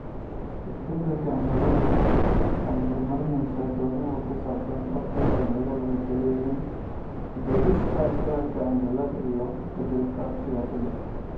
Isbeddelka cimiladu waxa ay hurinaysaa doodaha ku saabsan doorka dhallinyaradu ku leeyihiin u doodista ficilka cimilada iyo isbeddelka siyaasadda.